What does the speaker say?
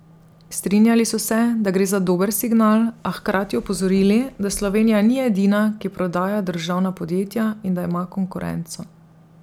Strinjali so se, da gre za dober signal, a hkrati opozorili, da Slovenija ni edina, ki prodaja državna podjetja, in da ima konkurenco.